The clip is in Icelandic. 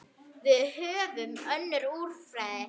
Við höfum önnur úrræði.